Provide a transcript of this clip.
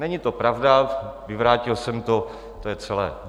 Není to pravda, vyvrátil jsem to, to je celé.